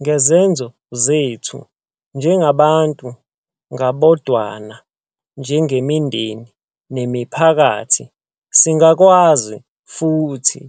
Ngezenzo zethu - njengabantu ngabodwana, njengemindeni, nemiphakathi - singakwazi futhi